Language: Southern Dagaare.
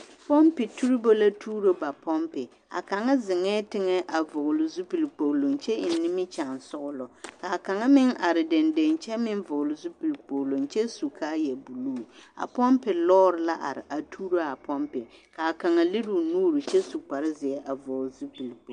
Pompi tuuribu la tuuro ba pompi a kaŋ zeŋɛɛ teŋɛ a vɔgele zupili kpogiloŋ kyɛ eŋ nimikyaansɔgelɔ k'a kaŋ meŋ are dendeŋ kyɛ meŋ vɔgele zupili kpogiloŋ kyɛ su kaaya buluu a pompi lɔɔre la are a tuuro a pompi k'a kaŋa lere o nuuri kyɛ su kpare zeɛ a vɔgele zupili